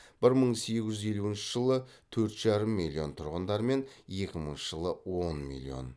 бір мың сегіз жүз елуінші жылы төрт жарым миллион тұрғындармен екі мыңыншы жылы он миллион